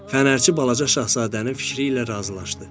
Fənərçi balaca Şahzadənin fikri ilə razılaşdı.